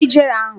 Gbuo ijere ahụ!